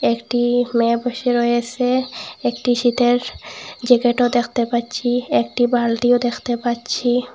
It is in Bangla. একটি মেয়ে বসে রয়েসে একটি সিটের জায়গাটাও দেখতে পাচ্ছি একটি বালটিও দেখতে পাচ্ছি।